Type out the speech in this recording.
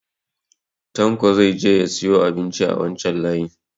Tanko zai je ya siyo abinci a wancan layi